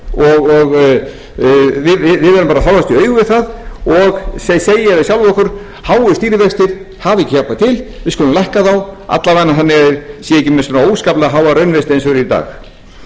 og við verðum bara að horfast í augu við það og segja við sjálf okkur háir stýrivextir hafa ekki hjálpað til við skulum lækka þá alla vegana svo þeir séu ekki með svona óskaplega háa raunvexti eins og er í dag við